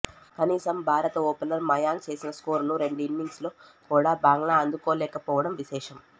కనీసం భారత ఓపెనర్ మయాంక్ చేసిన స్కోరును రెండు ఇన్నింగ్స్లలో కూడా బంగ్లా అందుకోలేకపోవడం విశేషం